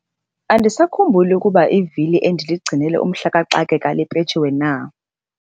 Andisakhumbuli ukuba ivili endiligcinele umhla kaxakeka lipetshiwe na.